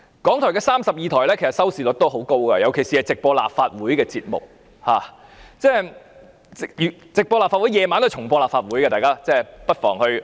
港台32台的收視率很高，尤其是直播立法會節目，晚上該台也會重播立法會的會議，大家不妨看看。